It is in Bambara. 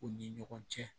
U ni ɲɔgɔn cɛ